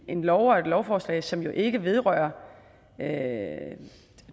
en lov og et lovforslag som ikke vedrører